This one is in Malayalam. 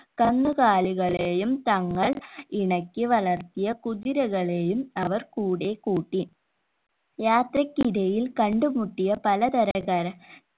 കന്നുകാലികളെയും തങ്ങൾ ഇണക്കി വളർത്തിയ കുതിരകളെയും അവർ കൂടെ കൂട്ടി യാത്രക്കിടയിൽ കണ്ട് മുട്ടിയ പല തരകര